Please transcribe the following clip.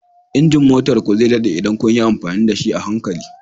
Injin motar ku zai daɗe idan kun yi amfani da shi a hankali